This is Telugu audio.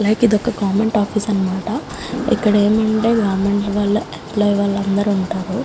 లైక్ ఇది ఒక గవర్నమెంట్ ఆఫీసు అనమాట. ఇక్కడ ఏంటంటే గవర్నమెంట్ వాలా ఏమ్ప్లోయీ వాళ్ళందరు ఉంటారు.